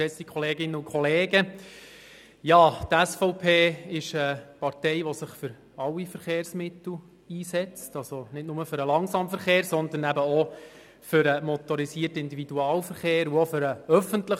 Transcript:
Die SVP setzt sich für alle Verkehrsmittel ein, also nicht nur für den Langsamverkehr, sondern auch für den motorisierten Individualverkehr (MiV) sowie für den ÖV.